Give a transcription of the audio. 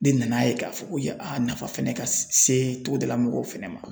Ne nan'a ye k'a fɔ ko ye a nafa fɛnɛ ka se togodala mɔgɔw fɛnɛ ma